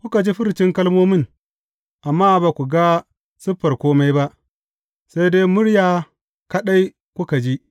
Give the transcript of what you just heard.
Kuka ji furcin kalmomin, amma ba ku ga siffar kome ba, sai dai murya kaɗai kuka ji.